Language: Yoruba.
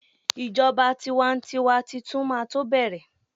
ijoba tiwantiwa Titun ma to bẹrẹ